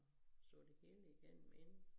Så det hele igennem inden